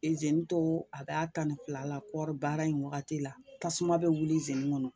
to a b'a tan fila la kɔri baara in wagati la, tasuma bɛ wuli kɔnɔ